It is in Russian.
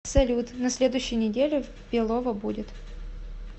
салют на следующей неделе в белово будет